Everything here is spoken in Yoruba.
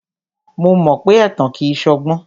Mo mọ pé ẹ̀tàn kìí ṣọgbọ́n.